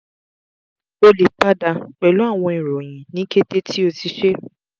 o le pada pẹlu awọn iroyin ni kete ti o ti ṣe